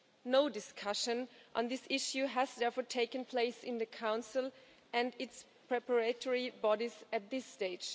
No discussion on this issue has, therefore, taken place in the Council and its preparatory bodies at this stage.